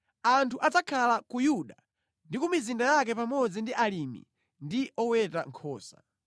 Anthu adzakhala ku Yuda ndi ku mizinda yake pamodzi ndi alimi ndi oweta nkhosa.